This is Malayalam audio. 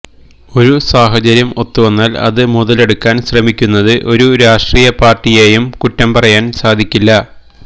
ഒരു സാഹചര്യം ഒത്തുവന്നാൽ അത് മുതലെടുക്കാൻ ശ്രമിക്കുന്നത് ഒരു രാഷട്രീയ പാർട്ടിയെയും കുറ്റം പറയാൻ സാധിക്കില്ല